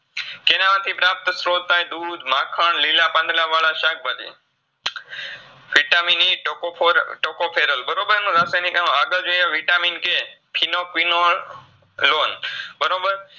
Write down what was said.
જેનાથી પ્રાપ્તસ્ત્રોત થાય દુદ, માખણ, લીલા પાંદળાવાળા શાકભાજી VitaminETocophorTocopherol બરોબર એનું રાસાયનીક નામ આગળ જોઈએ Vitamin K બરોબર